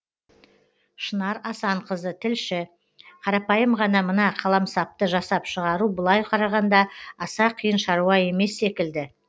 шынар асанқызы тілші қарапайым ғана мына қаламсапты жасап шығару былай қарағанда аса қиын шаруа емес секілді